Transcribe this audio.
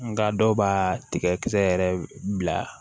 Nka dɔw b'a tigɛ kisɛ yɛrɛ bila